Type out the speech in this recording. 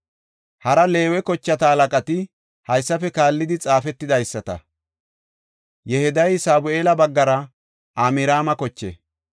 Hara Leewe kochata halaqati, haysafe kaallidi xaafetidaysata. Yehidayi Sabu7eela baggara Amraama koche.